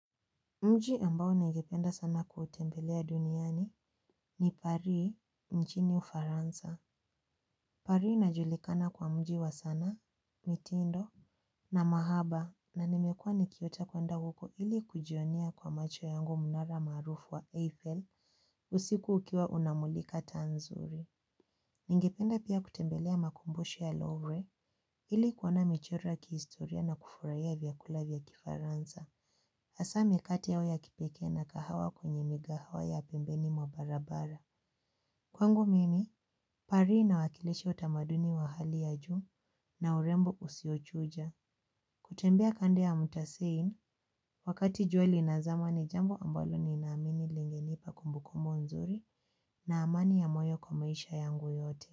Mji ambao ningependa sana kuutembelea duniani ni Pari mjini ufaransa. Paris inajulikana kwa mji wa sanaa, mitindo na mahaba na nimekua nikiota kuenda huko ili kujionea kwa macho yangu mnara maarufu wa Eiffel usiku ukiwa unamulika taa nzuri. Ningependa pia kutembelea makumbusho ya lawway ili kuoana michora ya kihistoria na kufurahia vyakula vya kifaransa. Hasa mikate yao ya kipekee na kahawa kwenye migahawa ya pembeni mwa barabara. Kwangu mimi, paris inawakilisha utamaduni wa hali ya juu na urembo usiochuja. Kutembea kando ya mutasein, wakati jua linazama ni jambo ambalo ninaamini lilinipa kumbukumbu nzuri na amani ya moyo kwa maisha yangu yote.